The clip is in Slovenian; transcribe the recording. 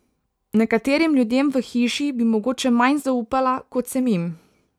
Nekaterim ljudem v hiši bi mogoče manj zaupala, kot sem jim.